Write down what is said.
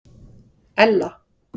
Ella